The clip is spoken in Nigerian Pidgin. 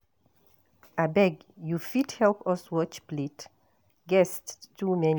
Abeg you fit help us watch plate, guests too many.